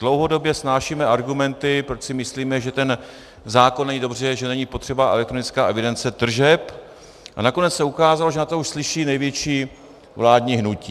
Dlouhodobě snášíme argumenty, proč si myslíme, že ten zákon není dobře, že není potřeba elektronická evidence tržeb, a nakonec se ukázalo, že na to už slyší největší vládní hnutí.